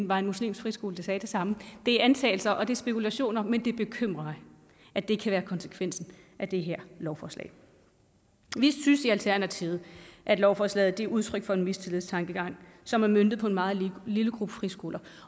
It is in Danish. var en muslimsk friskole der sagde det samme det er antagelser og det er spekulationer men det bekymrer mig at det kan være konsekvensen af det her lovforslag vi synes i alternativet at lovforslaget er udtryk for en mistillidstankegang som er møntet på en meget lille gruppe friskoler